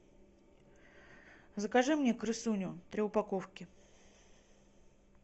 закажи мне крысуню три упаковки